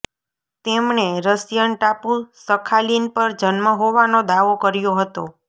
તેમણે રશિયન ટાપુ સખાલિન પર જન્મ હોવાનો દાવો કર્યો હતો